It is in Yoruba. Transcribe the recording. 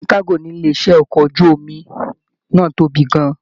Ìpín kago nílé iṣẹ ọkọ̀ ojú omi náà tóbi gán-an.